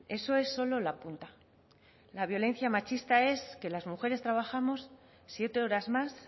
eso es solo la punta la violencia machista es que las mujeres trabajamos siete horas más